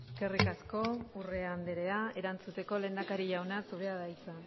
eskerrik asko urrea andrea erantzuteko lehendakari jauna zurea da hitza